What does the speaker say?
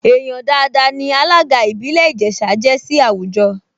Èèyàn dáadáa ní alága ìbílẹ̀ Ìjẹ̀ṣà jẹ́ sí àwùjọ